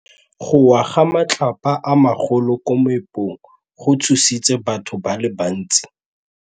Go wa ga matlapa a magolo ko moepong go tshositse batho ba le bantsi.